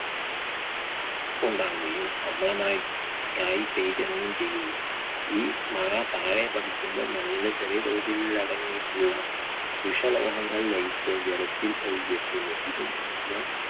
ഉണ്ടാവുകയും അമ്ല മഴയ്ക്കായി ചെയ്യുന്നു ഈ മഴ താഴെ പതിക്കുമ്പോൾ മണ്ണിൽ ചെറിയതോതിൽ അടങ്ങിയിട്ടുള്ള വിഷലോഹങ്ങൾ ലയിച്ച് ജലത്തിൽ ഒഴുകിയെത്തുന്നു. ഇത് മൂലം